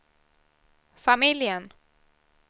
familjen